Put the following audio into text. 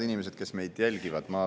Head inimesed, kes meid jälgivad!